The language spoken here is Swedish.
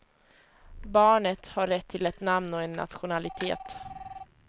Barnet har rätt till ett namn och en nationalitet.